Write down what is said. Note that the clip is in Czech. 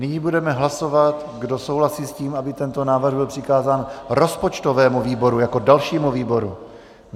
Nyní budeme hlasovat, kdo souhlasí s tím, aby tento návrh byl přikázán rozpočtovému výboru jako dalšímu výboru.